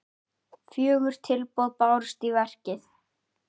Fjögur tilboð bárust í verkið.